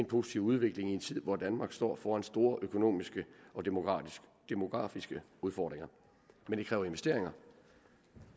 positiv udvikling i en tid hvor danmark står foran store økonomiske og demografiske demografiske udfordringer men det kræver